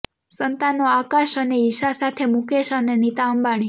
સંતાનો આકાશ અને ઈશા સાથે મુકેશ અને નીતા અંબાણી